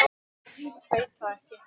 Hendur Lóu voru dofnar.